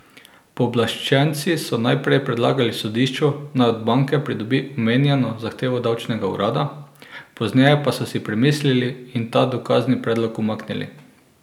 Pooblaščenci so najprej predlagali sodišču, naj od banke pridobi omenjeno zahtevo davčnega urada, pozneje pa so si premislili in ta dokazni predlog umaknili.